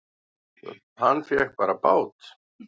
Hann fékk bara bát!